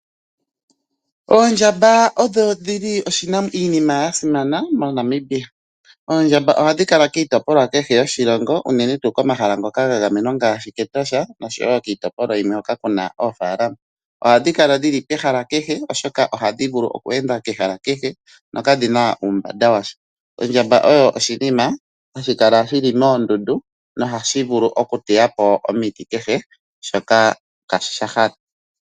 Oondjamba odho dhili iinima ya simana mo Namibia. Oondjamba ohadhi kala kiitopolwa kehe yoshilongo unene tuu komahala ngoka ga gamenwa ngaashi Ketosha noshowo kiitopolwa yilwe hoka kuna oofalalama. Ohadhi kala dhili pehala kehe oshoka ohadhi vulu oku enda kehala kehe no kadhina uumbamba washa. Ondjamba oyo oshinima hashi kala shili moondundu nohashi vulu oku teyapo omiti kehe shoka ngaashi sha hala